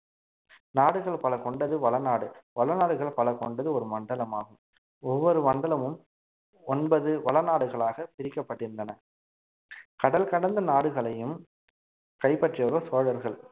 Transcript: நாடுகள் பல கொண்டது வள நாடு வள நாடுகள் பல கொண்டது ஒரு மண்டலமாகும் ஒவ்வொரு மண்டலமும் ஒன்பது வள நாடுகளாக பிரிக்கப்பட்டிருந்தன கடல் கடந்த நாடுகளையும் கைப்பற்றியவர்கள் சோழர்கள்